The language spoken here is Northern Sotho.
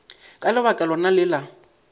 ka lebaka lona le la